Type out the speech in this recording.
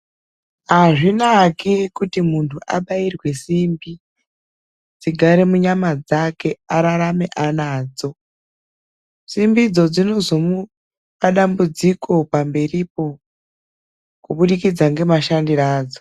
Azvinaki kuti muntu abairwe simbi dzigare munyama dzake ararame anadzo ,simbidzo dzinozomupa dambudziko pamberipo kubudikidza ngemashandiro adzo.